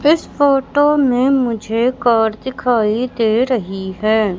इस फोटो में मुझे कार दिखाई दे रही है।